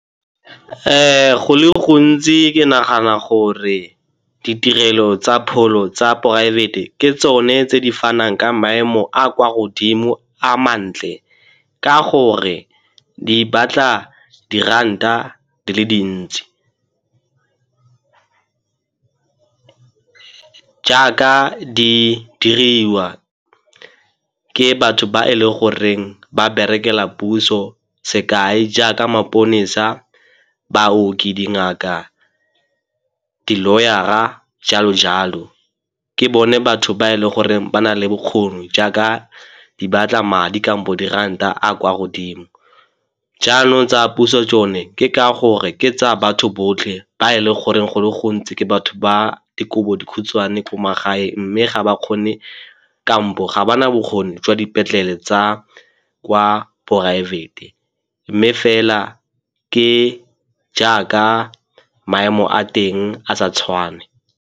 Go le gontsi ke nagana gore ditirelo tsa pholo tsa poraefete ke tsone tse di fanang ka maemo a a kwa godimo a mantle ka gore di batla diranta di le dintsi. Jaaka di diriwa ke batho ba e le goreng ba berekela puso, sekai, jaaka maponesa, baoki, dingaka, di-lawyer-ra jalo jalo. Ke bone batho ba e leng gore ba na le bokgoni jaaka di batla madi kampo diranta a kwa godimo. Jaanong tsa puso tsone, ke ka gore ke tsa batho botlhe ba e le goreng go le gontsi ke batho ba dikobodikhutshwane ko magaeng mme ga ba kgone kampo ga ba na bokgoni jwa dipetlele tsa kwa poraefete mme fela ke jaaka maemo a teng a sa tshwane.